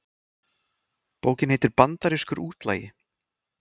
Bókin heitir Bandarískur útlagi